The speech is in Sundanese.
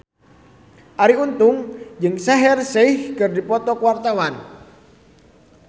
Arie Untung jeung Shaheer Sheikh keur dipoto ku wartawan